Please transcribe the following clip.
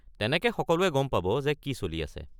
তেনেকে সকলোৱে গম পাব যে কি চলি আছে।